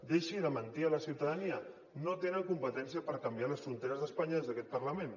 deixi de mentir a la ciutadania no tenen competència per canviar les fronteres d’espanya des d’aquest parlament